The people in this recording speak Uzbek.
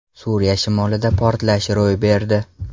Suriya shimolida portlash ro‘y berdi.